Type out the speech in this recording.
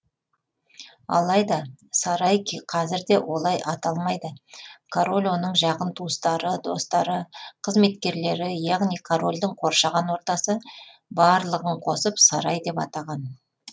алайда сарай қазірде олай аталмайды король оның жақын туыстары достары қызметкерлері яғни корольдің қоршаған ортасы барлығын қосып сарай деп атаған